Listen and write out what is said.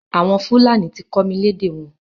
Àwọn Fúlàní ti kọ́ mi lédè wọn.